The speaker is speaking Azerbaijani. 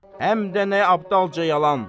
Həm də nə abdalca yalan.